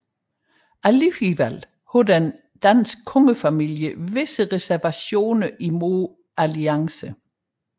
Alligevel havde den danske kongefamilie visse reservationer imod alliancen